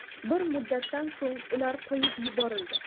Bir muddatdan so‘ng ular qo‘yib yuborildi.